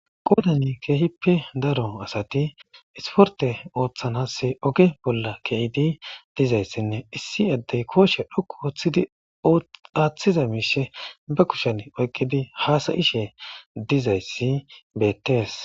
Qodan kehipe daro asati esiporte otanas oge bola ke'idi dizaysanne issi adey koshe dhoqu otidi atiza mishi be kushen oykidi hasa'ishe dizaysi betes.